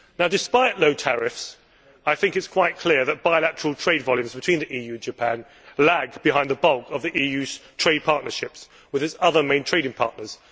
Despite low tariffs, I think it is quite clear that bilateral trade volumes between the EU and Japan lag behind the bulk of the EU's trade partnerships with its other main trading partners.